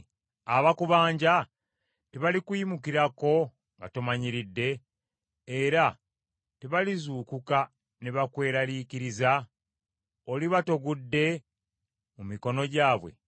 Abakubanja tebalikuyimukirako nga tomanyiridde, era tebalizuukuka ne bakweraliikiriza? Oliba togudde mu mikono gyabwe?